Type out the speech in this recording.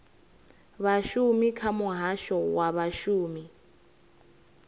vhashumi kha muhasho wa vhashumi